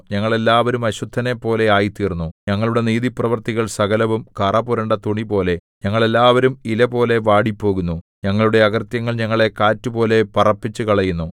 ഞങ്ങൾ എല്ലാവരും അശുദ്ധനെപ്പോലെ ആയിത്തീർന്നു ഞങ്ങളുടെ നീതിപ്രവൃത്തികൾ സകലവും കറപുരണ്ട തുണിപോലെ ഞങ്ങൾ എല്ലാവരും ഇലപോലെ വാടിപ്പോകുന്നു ഞങ്ങളുടെ അകൃത്യങ്ങൾ ഞങ്ങളെ കാറ്റുപോലെ പറപ്പിച്ചുകളയുന്നു